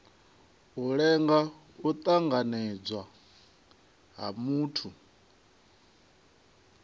lenga u tanganedzwa ha muthu